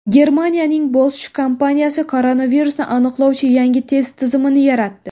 Germaniyaning Bosch kompaniyasi koronavirusni aniqlovchi yangi test tizimini yaratdi.